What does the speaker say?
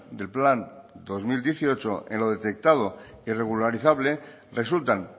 del plan dos mil dieciocho en lo detectado irregularizable resultan